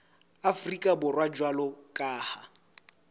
afrika borwa jwalo ka ha